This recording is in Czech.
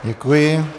Děkuji.